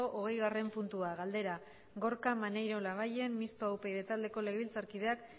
hogeigarren puntua galdera gorka maneiro labayen mistoa upyd taldeko legebiltzarkideak